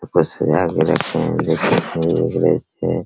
ऊपर भी रखे हैं देख सकते हैं --